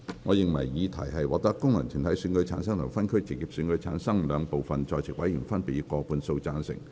我認為議題獲得經由功能團體選舉產生及分區直接選舉產生的兩部分在席委員，分別以過半數贊成。